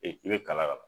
Ee i bɛ kala kaban